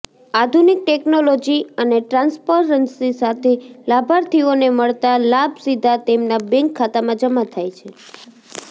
આધુનિક ટેકનોલોજી અને ટ્રાન્સપરન્સી સાથે લાભાર્થીઓને મળતા લાભ સીધા તેમના બેંક ખાતામાં જમા થાય છે